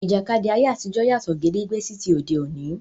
Ìjàkadì ayé àtijọ́ yàtọ̀ gédégbé sí ti òde òní.